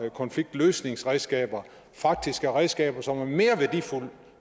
konfliktløsningsredskaber faktisk er redskaber som er mere værdifulde